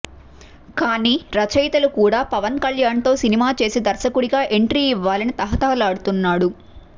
కానీ రచయితలు కూడా పవన్ కళ్యాణ్ తో సినిమా చేసి దర్శకుడిగా ఎంట్రీ ఇవ్వాలని తహతహలాడుతున్నాడు